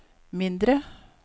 mindre